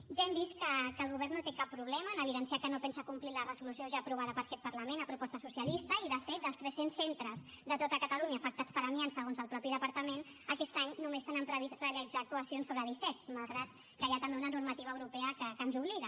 ja hem vist que el govern no té cap problema en evidenciar que no pensa complir la resolució ja aprovada per aquest parlament a proposta socialista i de fet dels tres cents centres de tot catalunya afectats per amiant segons el mateix departament aquest any només tenen previst realitzar hi actuacions sobre disset malgrat que hi ha també una normativa europea que ens hi obliga